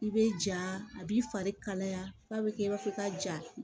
I bɛ ja a b'i fari kalaya f'a bɛ kɛ i b'a fɔ ka ja